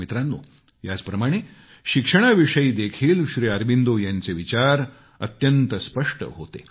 मित्रांनो याचप्रमाणे शिक्षणाविषयी देखीलश्री अरबिंदो यांचे विचार अत्यंत स्पष्ट होते